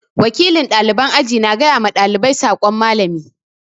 Wakilin ɗaliban aji na gaya ma ɗalibai sakon Mallami.